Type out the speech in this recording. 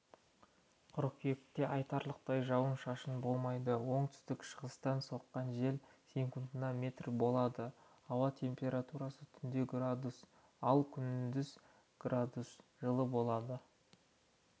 қыркүйекте айтарлықтай жауын шашын болмайды оңтүстік шығыстан соққан жел секундына метр болады ауа температурасы түнде градус ал күндіз градус жылы болады